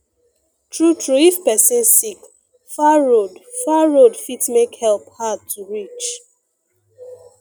true true if person sick far road far road fit make help hard to reach